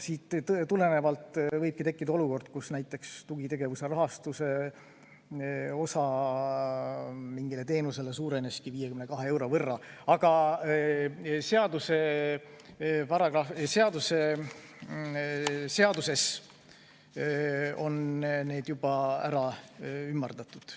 Sellest tulenevalt võib tekkida olukord, kus näiteks tugitegevuse rahastus mingile teenusele suurenes 52 euro võrra, ent seaduses on need summad ümardatud.